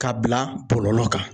K'a bila bɔlɔlɔ kan.